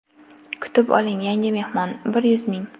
Kutib oling yangi mehmon: bir yuz ming!